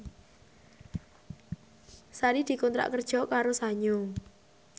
Sari dikontrak kerja karo Sanyo